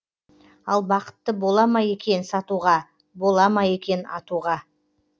ал бақытты бола ма екен сатуға бола ма екен атуға